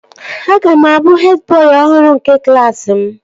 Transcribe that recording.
Aga m abụ hed bọị ọhụrụ nke klaasị mụ